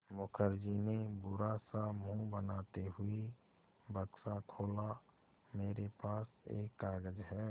मुखर्जी ने बुरा सा मुँह बनाते हुए बक्सा खोला मेरे पास एक कागज़ है